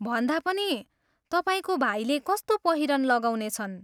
भन्दा पनि, तपाईँको भाइले कस्तो पहिरन लगाउनेछन्?